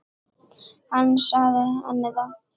Hann sagði henni það.